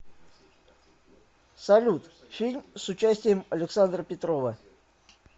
салют фильм с участием александра петрова